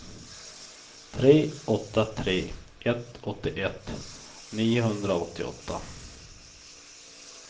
tre åtta tre ett åttioett niohundraåttioåtta